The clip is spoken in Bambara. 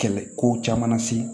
Kɛlɛ ko caman na se